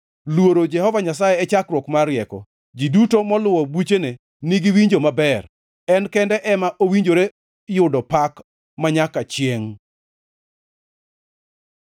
Luoro Jehova Nyasaye e chakruok mar rieko; ji duto moluwo buchene nigi winjo maber. En kende ema owinjore yudo pak manyaka chiengʼ.